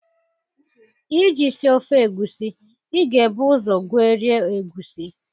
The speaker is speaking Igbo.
Iji sie ofe egusi, I ga-ebu ụzọ gwerie egusi